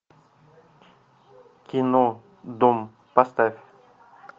кино дом поставь